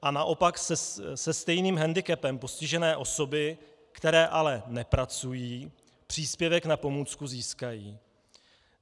A naopak se stejným hendikepem postižené osoby, které ale nepracují, příspěvek na pomůcku získají.